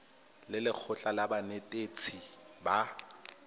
le lekgotlha la banetetshi ba